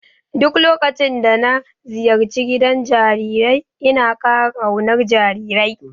Duk lokacin da na ziyarci gidan jarirai ina ƙara ƙaunar jarirai.